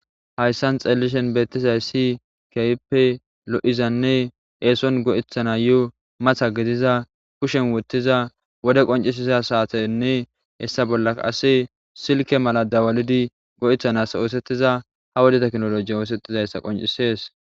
Hayssan xellishshin bettizaysi kehippe lo'izanne esson go'etanayo matta giddiza kushsen woththiza wode qonccisiza sattenne hessa bolla qase silkke mala dawallidi go'etana ossteiza ha wode tekkinolajen ossetizayissa qonccises.